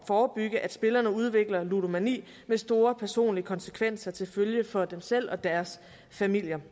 forebygge at spillerne udvikler ludomani med store personlige konsekvenser til følge for dem selv og deres familier vi